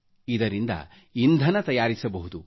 ಇದರಿಂದ ಇಂಧನ ತಯಾರಿಸಬಹುದು